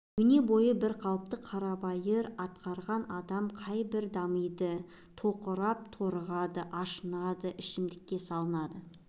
өне бойы бір қалыпты қарабайыр атқарған адамда қай бірі дамиды тоқырап-торығады ашынады ішімдікке салынады